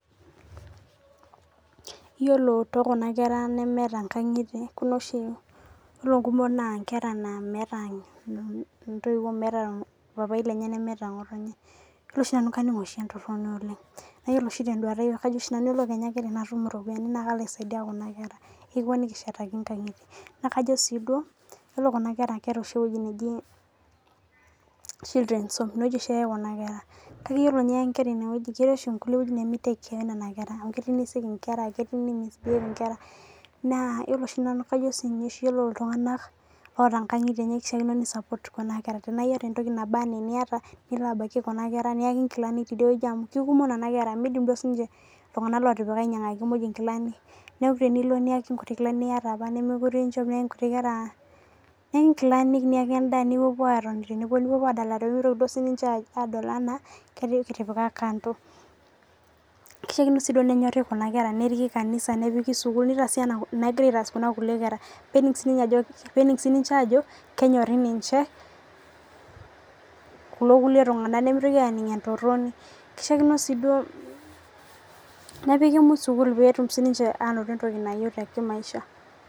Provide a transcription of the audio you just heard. Iyiolo too kun kera nemeeta inkang'itie kuna oshi ore inkumok na nkera naa metaa intoiwuo meeta paapi lenye nemeeta ng'otonye. Ore nanu naa kaning' oshi entorono oleng' naa ore oshi tee duata aii kajo oshi nanu ore kenya ake tenatum iropinia na kalo aisaidia kuna kera. Nikishetaki inkngitie na kajo sii duo yiolo kuna kera keeta oshi eweji naji children's home ineweji oshi eyae kuna kera. Kake ore teniya inkera ineweji Ketii oshi kulie wejitin nemi take care oo nena kera kell nei misbehave inkera naa iyiolo oshi nanu kaojo oshi ore iltung'ana otaa inkang'itie enye keishakino support kuna kera tenayata entoki naba anaa eniata nilo abaki kuna kera niyakj inkilani tidieweji amu kikumok nena kera midim duo sii ninye iltung'ana otipika ainyangaki muj inkilani neeku tenilo niaki kuti kilani niyata apa nemekure. Inchop niyaki inkilani niyaki edaa nipuopuo atoni tenebo nipuopuo adalare pemitoki duo sii ninche adol anaa kitipika kando. Kishaikino sii duo nenyorik kuna kera neriki kanisa nepiki sukul neitaasai anaa enigirai aitas kuna kulie kera pening sii ninche ajo kenyorii ninche kulo kulue tung'ana nemutoki aning' entoroni. Kishaikiino sii duo nepiki muj sukul petum sii ninche anoto entoki nayeu tee maisha.